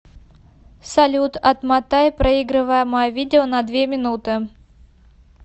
салют отмотай проигрываемое видео на две минуты